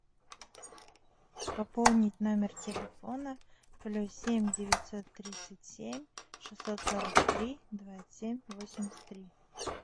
пополнить номер телефона плюс семь девятьсот тридцать семь шестьсот сорок три двадцать семь восемьдесят три